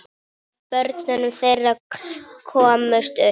Af börnum þeirra komust upp